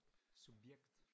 Subjekt